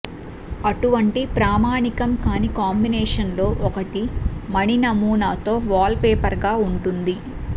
అటువంటి ప్రామాణికం కాని కాంబినేషన్లలో ఒకటి మణి నమూనాతో వాల్పేపర్గా ఉంటుంది